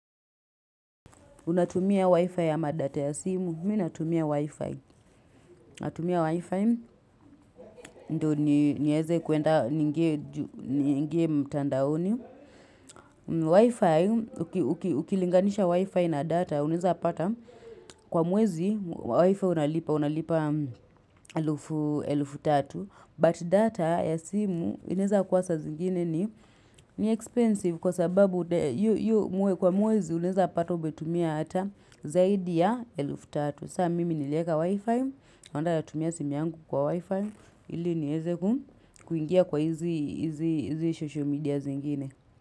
Unatumia Wi-Fi ama data ya simu, mii natumia Wi-Fi. Natumia Wi-Fi, ndo nieze kuenda niingie mtandaoni. Wi-Fi, ukilinganisha Wi-Fi na data, uneweza pata kwa mwezi, Wi-Fi unalipa, unalipa elufu tatu. But data ya simu inaeza kuwa ssa zingine ni ni expensive kwa sababu kwa mwezi unaeza pata umetumia hata zaidi ya elufu tatu. Saa mimi nilieka wifi. Onda na tumia simi yangu kwa wifi. Ili nieze kuingia kwa hizi social media zingine.